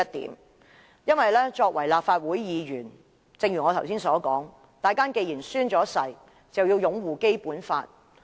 正如我剛才所說，作為立法會議員，大家既然已經宣誓，便要擁護《基本法》。